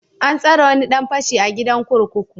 An tsare wani dan fashi a gidan kurkuku.